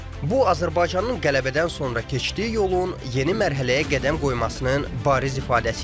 Bu Azərbaycanın qələbədən sonra keçdiyi yolun yeni mərhələyə qədəm qoymasının bariz ifadəsi idi.